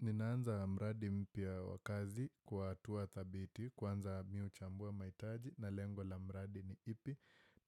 Ninaanza mradi mpya wa kazi kwa hatua thabiti, kwanza mimi huchambua mahitaji na lengo la mradi ni ipi.